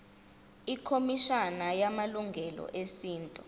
ikhomishana yamalungelo esintu